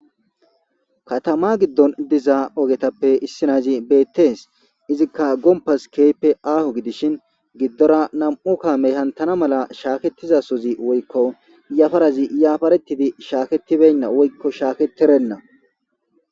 katama giddon dizaa ogetappe issinazi beettees izikka gompas keype aaho gidishin giddora nam7u kaamey hantana mala shaaketizasozi woykko iyafarazi iyafaretidi shaaketibenna woykko shaaketirenna